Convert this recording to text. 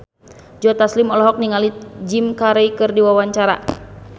Joe Taslim olohok ningali Jim Carey keur diwawancara